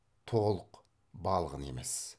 толық балғын емес